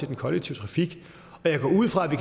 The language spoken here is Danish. den kollektive trafik jeg går ud fra at vi